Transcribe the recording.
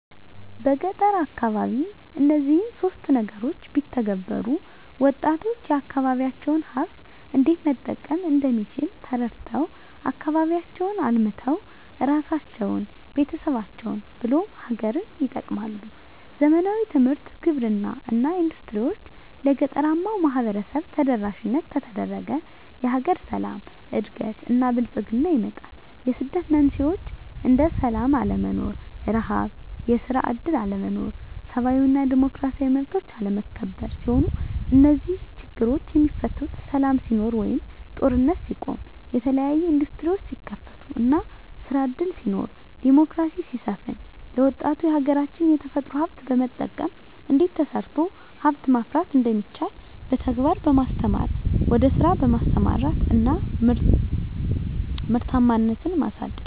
በገጠር አካባቢ እነዚህን ሶስት ነገሮች ቢተገበሩ -ወጣቶች የአካባቢዎቻቸውን ሀብት እንዴት መጠቀም እንደሚችል ተረድተው አካባቢያቸውን አልምተው እራሳቸውን፤ ቤተሰቦቻቸውን ብሎም ሀገርን ይጠቅማሉ። ዘመናዊ ትምህርት፤ ግብርና እና ኢንዱስትሪዎች ለገጠራማው ማህበረሰብ ተደራሽ ከተደረገ የሀገር ሰላም፤ እድገት እና ብልፅግና ይመጣል። የስደት መንስኤዎች እንደ ስላም አለመኖር፤ ርሀብ፤ የስራ እድል አለመኖር፤ ሰብአዊ እና ዲሞክራሲያዊ መብቶች አለመከበር ሲሆኑ -እነዚህ ችግሮች የሚፈቱት ሰላም ሲኖር ወይም ጦርነት ሲቆም፤ የተለያዬ እንዱስትሪዎች ሲከፈቱ እና ስራ እድል ሲኖር፤ ዲሞክራሲ ሲሰፍን፤ ለወጣቱ የሀገራች የተፈጥሮ ሀብት በመጠቀም እንዴት ተሰርቶ ሀብት ማፍራት እንደሚቻል በተግባር በማስተማር ወደ ስራ በማሰማራት እና ምርታማነትን ማሳደግ።